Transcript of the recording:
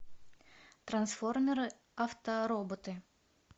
трансформеры автороботы